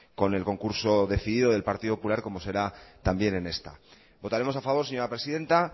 con el concurso decidido del partido popular como será también en esta votaremos a favor señora presidenta